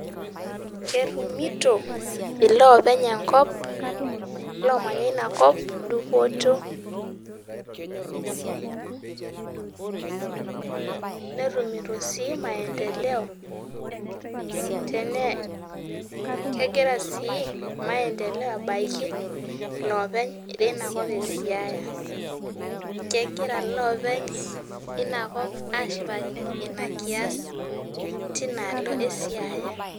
Ketumito lopeny enkop lomanya inakop dupoto netumito sii maendeleo, kegira si maendeleo abaki loopeny inakop esiaya kegira loopeny linakop asipakino ina kias tinaalo esiaya.